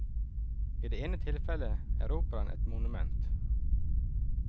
I det ene tilfellet er operaen et monument.